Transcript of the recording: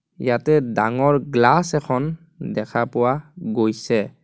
ইয়াতে ডাঙৰ গ্লাচ এখন দেখা পোৱা গৈছে.